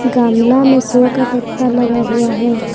गमला में शो का पत्ता लगा हुआ है।